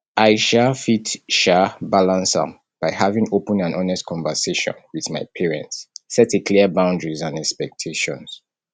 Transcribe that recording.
i um fit um balance am by having open and honest conversation with my parents set a clear boundaries and expectations